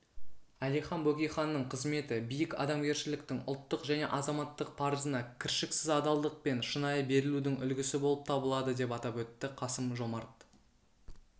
әлихан бөкейханның қызметі биік адамгершіліктің ұлттық және азаматтық парызына кіршіксіз адалдық пен шынайы берілудің үлгісі болып табылады деп атап өтті қасым-жомарт